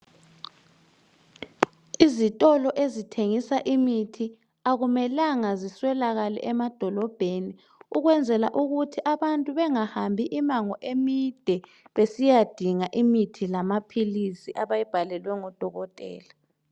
Izitolo ezithengisa imithi akumelanga ziswelakale emadolobheni ukwenzela ukuthi abantu bengahambi imango emide, besiyadinga imithi lamaphilisi abayibhalelwe ngodokotela.